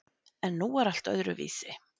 En nú var allt öðruvísi.